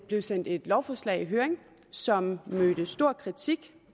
der sendt et lovforslag i høring som mødte stor kritik